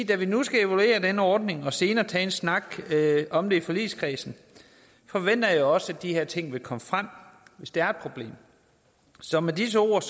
da vi nu skal evaluere denne ordning og senere tage en snak om det i forligskredsen forventer jeg også at de her ting vil komme frem hvis der er et problem så med disse ord